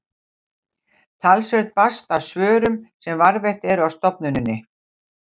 talsvert barst af svörum sem varðveitt eru á stofnuninni